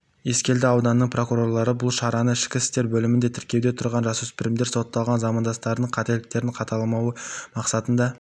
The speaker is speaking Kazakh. ескелді ауданының прокурорлары бұл шараны ішкі істер бөлімінде тіркеуде тұрған жасөспірімдер сотталған замандастарының қателіктерін қайталамауы мақсатында